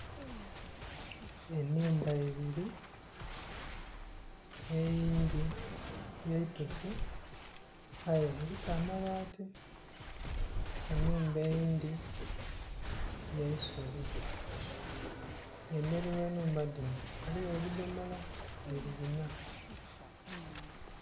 Enhumba ibiri eyindhi ya itoosi aye eriku amabaati enhumba eyindhi ya isubi emberi ghe nhumba dhino ghaligho ebidhomola biri binna.